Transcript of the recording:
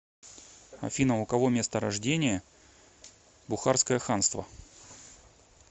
афина у кого место рождения бухарское ханство